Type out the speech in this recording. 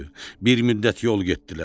Bir müddət yol getdilər.